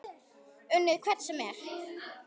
Unnið hvern sem er?